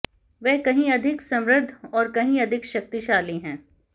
वह कहीं अधिक समृद्ध और कहीं अधिक शक्तिशाली है